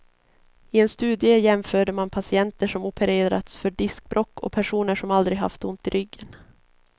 I en studie jämförde man patienter som opererats för diskbråck och personer som aldrig haft ont i ryggen.